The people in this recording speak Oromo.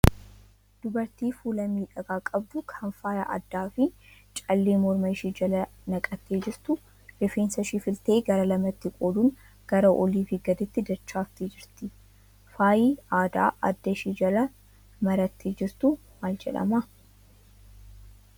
Dubartii fuula miidhagaa qabdu kan faaya addaa fi callee morma ishee jala naqattee jirtu. Rifeensa ishee filtee gara lamatti qooduun gara oliifi gadiitti dachaafattee jirti. Faayi aadaa adda ishee jala marattee jirtu maal jedhama?